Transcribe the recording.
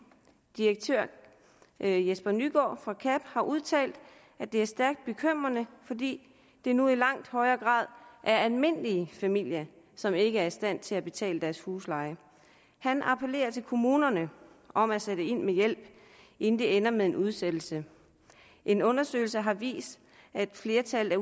direktør jesper nygård fra kab har udtalt at det er stærkt bekymrende fordi det nu i langt højere grad er almindelige familier som ikke er i stand til at betale deres husleje han appellerer til kommunerne om at sætte ind med hjælp inden det ender med en udsættelse en undersøgelse har vist at flertallet af